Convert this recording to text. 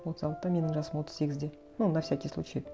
отыз алтыда менің жасым отыз сегізде ну на всякий случай